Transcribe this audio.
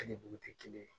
Hali bugu tɛ kelen ye